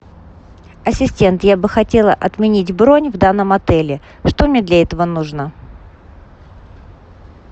ассистент я бы хотела отменить бронь в данном отеле что мне для этого нужно